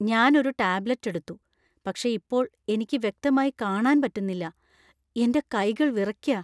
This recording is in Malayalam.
ഞാൻ ഒരു ടാബ്ലറ്റ് എടുത്തു, പക്ഷേ ഇപ്പോൾ എനിക്ക് വ്യക്തമായി കാണാൻ പറ്റുന്നില്ലാ, എന്‍റെ കൈകൾ വിറയ്ക്കാ.